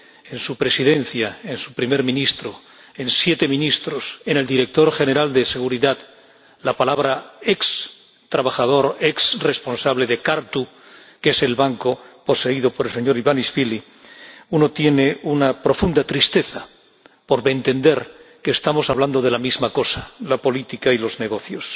—en la presidencia, en el de su primer ministro, los de siete ministros, el del director general de Seguridad— la palabra ex trabajador, ex responsable de Cartu, que es el banco poseído por el señor Ivanishvili, uno siente una profunda tristeza, por entender que estamos hablando de la misma cosa la política y los negocios.